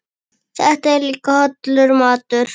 Þetta er líka hollur matur.